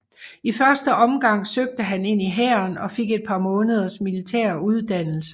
I første omgang søgte han ind i hæren og fik et par måneders militær uddannelse